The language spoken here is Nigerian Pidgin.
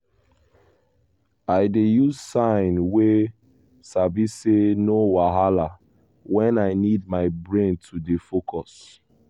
i dey use sign wey sabi say 'no wahala' when i need my brain to dey focus.